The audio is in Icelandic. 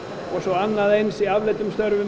og svo annað eins í afleiddum störfum